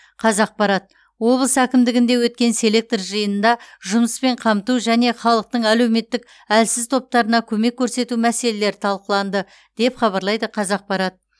қазақпарат облыс әкімдігінде өткен селектор жиынында жұмыспен қамту және халықтың әлеуметтік әлсіз топтарына көмек көрсету мәселелері талқыланды деп хабарлайды қазақпарат